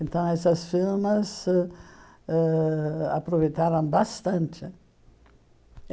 Então essas firmas ãh aproveitaram bastante.